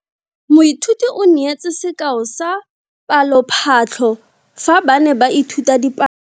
Moithuti o neetse sekao sa palophatlo fa ba ne ba ithuta dipalo.